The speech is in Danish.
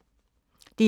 DR1